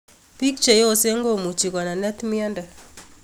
Piik cheyosen komuchi konenet myondo